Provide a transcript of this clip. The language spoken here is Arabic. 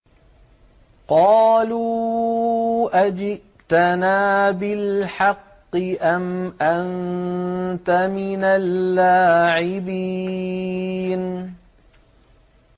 قَالُوا أَجِئْتَنَا بِالْحَقِّ أَمْ أَنتَ مِنَ اللَّاعِبِينَ